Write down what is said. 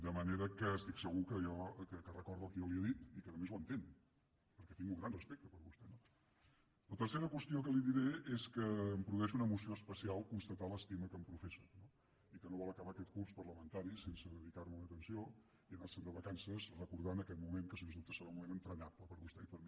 de manera que estic segur que recorda el que jo li he dit i que a més ho entén perquè tinc un gran respecte per vostè no la tercera qüestió que li diré és que em produeix una emoció especial constatar l’estima que em professa no i que no vol acabar aquest curs parlamentari sense dedicar me una atenció i anar se’n de vacances recordant aquest moment que sens dubte serà un moment entranyable per a vostè i per a mi